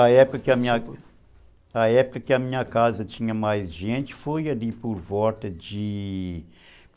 A época que a, na época que a minha casa tinha mais gente, foi ali por volta de...